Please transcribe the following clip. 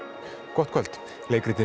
gott kvöld leikritið